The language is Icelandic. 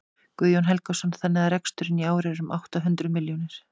Guðjón Helgason: Þannig að reksturinn í ár er um átta hundruð milljónir?